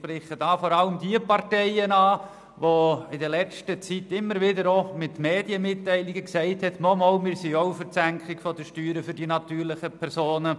Ich spreche hier vor allem diejenigen Parteien an, die in der letzten Zeit immer auch wieder in Medienmitteilungen gesagt haben, sie seien auch für die Senkung der Steuern bei den natürlichen Personen.